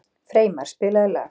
Freymar, spilaðu lag.